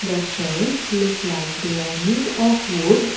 the shelves look like they are made of wood.